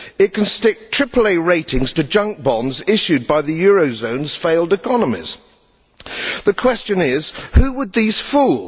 It can stick AAA ratings to junk bonds issued by the eurozone's failed economies. The question is, who would these fool?